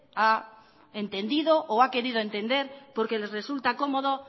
ha entendido o ha querido entender porque les resulta cómodo